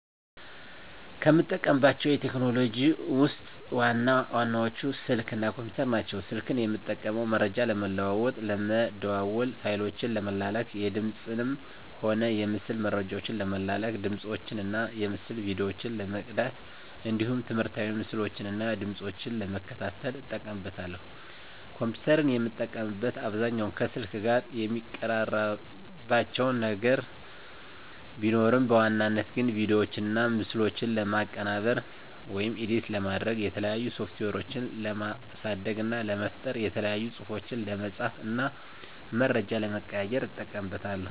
ከምጠቀማቸው ቴክኖሎጂዎችን ውስጥ ዋና ዋናዎቹ ስልክ እና ኮምፒተር ናቸው። ስልክን የምጠቀመው መረጃ ለመለዋዎጥ ለመደዋዎል፣ ፋይሎችን ለመላላክ፣ የድምፅንም ሆነ የምስል መረጃዎችን ለመላላክ፣ ድምፆችን እና የምስል ቪዲዮዎችን ለመቅዳት እንዲሁም ትምህርታዊ ምስሎችን እና ድምጾችን ለመከታተል እጠቀምበታለሁ። ኮምፒተርን የምጠቀምበት አብዛኛውን ከስልክ ጋር የሚቀራርባቸው ነገር ቢኖርም በዋናነት ግን ቪዲዮዎችና ምስሎችን ለማቀነባበር (ኤዲት) ለማድረግ፣ የተለያዩ ሶፍትዌሮችን ለማሳደግ እና ለመፍጠር፣ የተለያዩ ፅሁፎችን ለመፃፍ እና መረጃ ለመቀያየር ... እጠቀምበታለሁ።